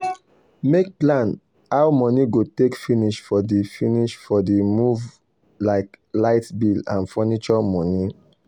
make plan how money go take finish for the finish for the move like light bill and furniture money.